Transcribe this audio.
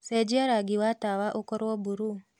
cenjĩa rangĩ wa tawaũkorwo burũũ